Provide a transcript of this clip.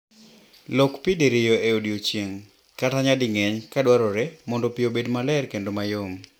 Lok pi diriyo e odiechieng', kata nyading'eny ka dwarore mondo pi obed maler kendo mayom.